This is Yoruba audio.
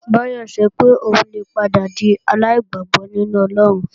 Báyọ̀ sọ pé òun lè padà di aláìgbàgbọ́ nínú Ọlọ́run